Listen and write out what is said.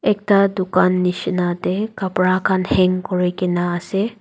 ekta dukan nishina tey kapara khan hang kurikaena ase.